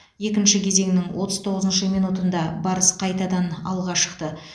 екінші кезеңнің отыз тоғызыншы минутында барыс қайтадан алға шықты